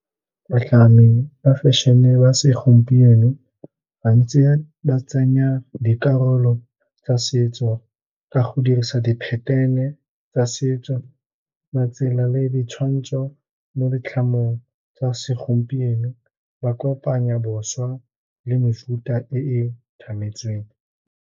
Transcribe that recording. Batlhami ba fešene ba segompieno gantsi ba tsenya dikarolo tsa setso ka go dirisa di-pattern-e tsa setso, matsela le ditshwantsho mo ditlhamong tsa segompieno. Ba kopanya bošwa le mefuta e e tlhametsweng.